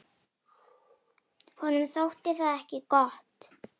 Honum þótti það ekki gott.